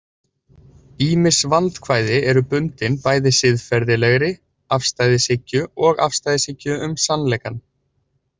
Ýmis vandkvæði eru bundin bæði siðferðilegri afstæðishyggju og afstæðishyggju um sannleikann.